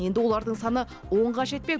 енді олардың саны онға жетпек